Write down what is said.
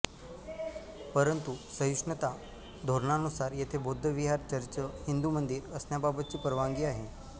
परंतु सहिष्णुता धोरणानुसार येथे बौद्ध विहार चर्च हिंदू मंदिर असण्याबाबतची परवानगी आहे